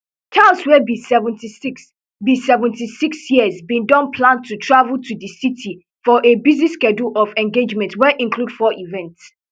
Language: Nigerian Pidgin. charles wey be seventy-six be seventy-six years bin don plan to travel to di city for a busy schedule of engagements wey include four events